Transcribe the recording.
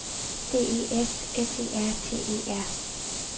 D E S S E R T E R